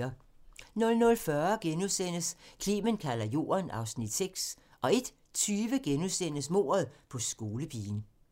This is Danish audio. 00:40: Clement kalder Jorden (Afs. 6)* 01:20: Mordet på skolepigen *